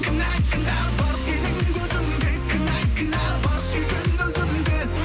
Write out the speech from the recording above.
кінә кінә бар сенің көзіңде кінә кінә бар сүйген өзімде